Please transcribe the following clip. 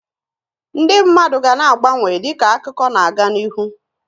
Ndị mmadụ ga na-agbanwe dịka akụkọ na aga n'ihu